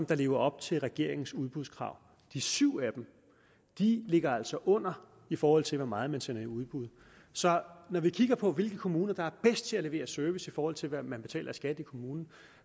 der lever op til regeringens udbudskrav de syv af dem ligger altså under i forhold til hvor meget man sender i udbud så når vi kigger på hvilke kommuner der er bedst til at levere service i forhold til hvad man betaler i skat i kommunen